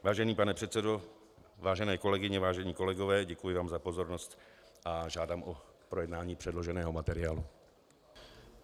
Vážený pane předsedo, vážené kolegyně, vážení kolegové, děkuji vám za pozornost a žádám o projednání předloženého materiálu.